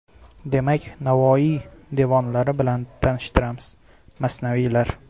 Demak, Navoiy devonlari bilan tanishtiramiz : Masnaviylar.